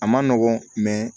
A ma nɔgɔn